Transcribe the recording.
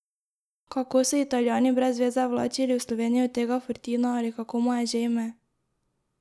Kako so Italijani brezveze vlačili v Slovenijo tega Fortina ali kako mu je že ime?